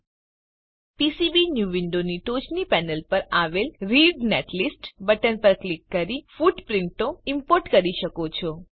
હવે તમે પીસીબીન્યૂ વિન્ડોની ટોચની પેનલ પર આવેલ રીડ નેટલિસ્ટ બટન પર ક્લિક કરીને ફૂટપ્રીંટો ઈમ્પોર્ટ કરી શકો છો